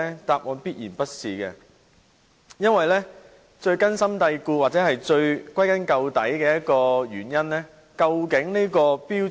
答案必然不是，因為最根本的問題是政府如何看待《規劃標準》。